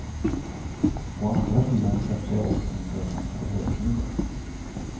Å andra sidan skrattar jag åt dem för att de får hösnuva.